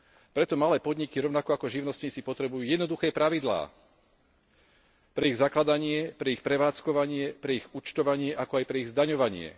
Preto malé podniky rovnako ako živnostníci potrebujú jednoduché pravidlá pre ich zakladanie, pre ich prevádzkovanie, pre ich účtovanie, ako aj pre ich zdaňovanie.